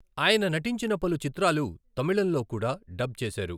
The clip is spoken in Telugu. ఆయన నటించిన పలు చిత్రాలు తమిళంలో కూడా డబ్ చేసారు.